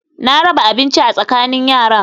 Na raba abincin a tsakanin yaran